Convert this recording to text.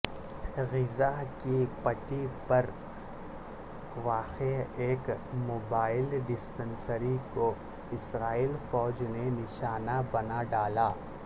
غزہ کی پٹی پر واقع ایک موبائل ڈسپنسری کو اسرائیل فوج نے نشانہ بنا ڈالا